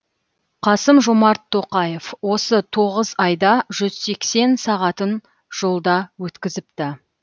қасым жомарт тоқаев осы тоғыз айда жүз сексен сағатын жолда өткізіпті